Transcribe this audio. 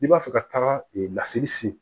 N'i b'a fɛ ka taga ee laseli se